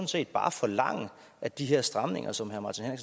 set bare forlange at de her stramninger som herre martin